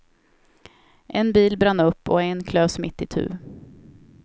En bil brann upp och en klövs mitt itu.